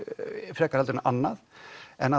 frekar heldur en annað en